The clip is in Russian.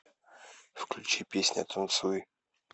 включи песня танцуй